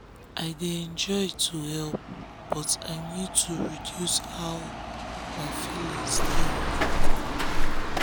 i de enjoy um to help um but i nid to reduce how my feelings dey involve